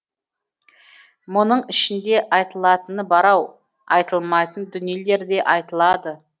мұның ішінде айтылатыны бар ау айтылмайтын дүниелер де айтылады